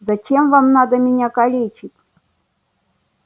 зачем вам надо меня калечить